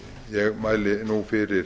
ég mæli nú fyrir